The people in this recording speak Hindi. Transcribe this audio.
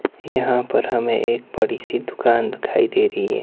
यहां पर हमें एक बड़ी सी दुकान दिखाई दे रही है।